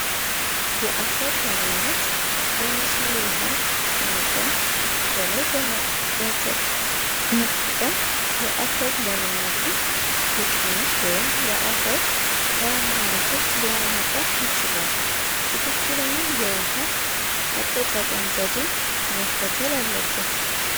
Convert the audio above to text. የመስኖ ውሃን ከመጠን በጠ ቀም የአፈር ለምነት ወይም የአፈ ወጠ ይችላል ትክክለኛ የውሃ አጠቃቀም ዘዴ መከተል አለበት